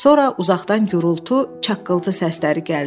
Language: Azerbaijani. Sonra uzaqdan gurultu, çaqqıltı səsləri gəldi.